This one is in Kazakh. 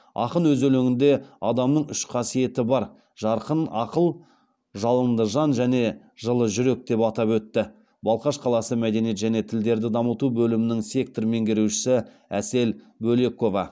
ақын өз өлеңінде адамның үш қасиеті бар жарқын ақыл жалынды жан және жылы жүрек деп атап өтті балқаш қаласы мәдениет және тілдерді дамыту бөлімінің сектор меңгерушісі әсел бөлекова